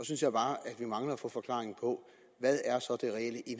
synes jeg bare vi mangler at få forklaringen